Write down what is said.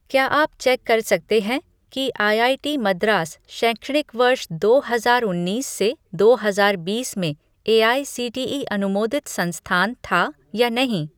क्या आप चेक कर सकते हैं कि आईआईटी मद्रास शैक्षणिक वर्ष दो हजार उन्नीस से दो हजार बीस में एआईसीटीई अनुमोदित संस्थान था या नहीं?